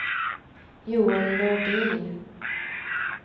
Joel Nordin